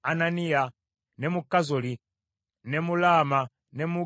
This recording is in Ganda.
ne mu Kazoli, ne mu Laama, ne mu Gittayimu,